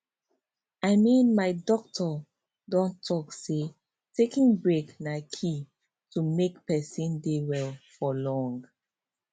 i mean my doctor don talk say taking breaks na key to make person dey well for long